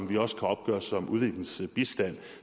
vi også kan opgøre som udviklingsbistand